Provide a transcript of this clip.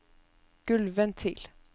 gulvventil